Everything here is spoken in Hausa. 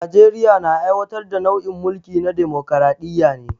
Najeriya na aiwatar da nau'in mulki na damokaraɗiya ne